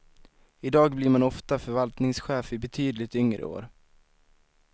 Idag blir man ofta förvaltningschef i betydligt yngre år.